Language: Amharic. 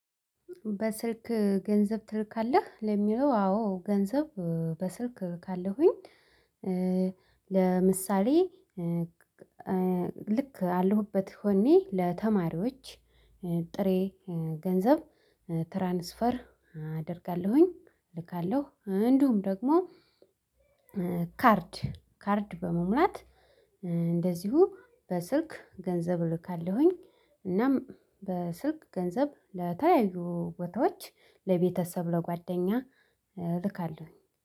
በስልክ ገንዘብ ትልካለህ ለሚለው አዎ ገንዘብ በስልክ እልካለሁኝ። ለምሳሌ ልክ አለሁበት ሆኜ ለተማሪዎች ጥሬ ገንዘብ ትራንስፈር አደርጋለሁኝ እልካለሁ እንደውም ደግሞ ካርድ ካርድ በመሙላት እንደዚሁ በስልክ ገንዘብ እልካለሁኝ። እናም በስልክ ገንዘብ ለተለያዩ ቦታዎች ለቤተሰብ ለጓደኛ እልካለሁ